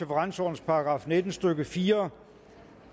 § nitten stykke fire